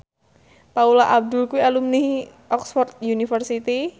Paula Abdul kuwi alumni Oxford university